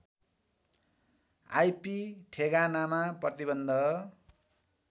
IP ठेगानामा प्रतिबन्ध